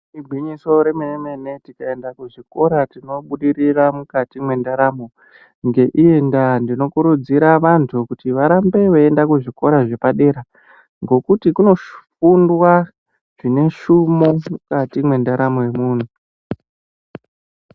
Igwinyiso remene mene, tikaenda kuzvikora tinobudirira mukati mwendaramo. Ngeienda ndinokurudzira vantu kuti varambe veienda kuzvikora zvepadera, ngokuti kunofundwa zvine shumo mukati mwendaramo yomuntu.